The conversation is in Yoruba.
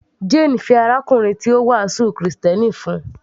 Jane fẹ́ arákùnrin tí ó wàásù krìstẹ́nì fún un